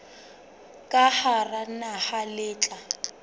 ka hara naha le tla